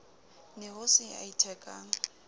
ne ho se ya ithekang